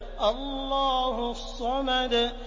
اللَّهُ الصَّمَدُ